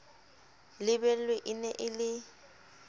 lebelwe e ne e le